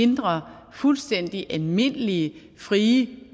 hindre fuldstændig almindelige frie